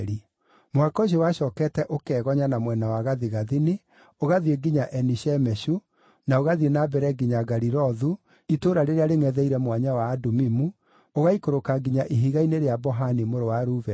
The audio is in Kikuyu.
Mũhaka ũcio wacookete ũkegonya na mwena wa gathigathini, ũgathiĩ nginya Eni-Shemeshu, na ũgathiĩ na mbere nginya Galilothu, itũũra rĩrĩa rĩngʼetheire Mwanya wa Adumimu, ũgaikũrũka nginya Ihiga-inĩ rĩa Bohani mũrũ wa Rubeni.